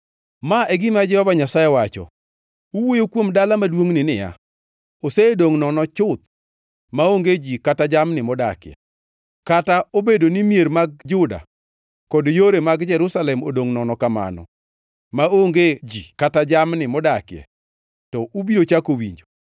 “Ma e gima Jehova Nyasaye wacho: ‘Uwuoyo kuom dala maduongʼni niya, “Osedongʼ nono chuth, maonge ji kata jamni modakie.” Kata obedo ni mier mag Juda kod yore mag Jerusalem odongʼ nono kamano, maonge ji kata jamni modakie, to ubiro chako winjo,